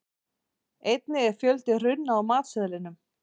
einnig er fjöldi runna á matseðlinum